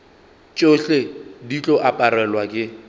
tšohle di tlo aparelwa ke